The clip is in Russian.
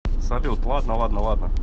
салют ладно ладно ладно